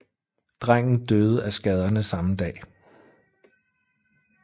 Drengen døde af skaderne samme dag